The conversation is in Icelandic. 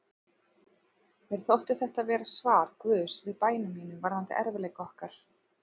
Mér þótti þetta vera svar Guðs við bænum mínum varðandi erfiðleika okkar.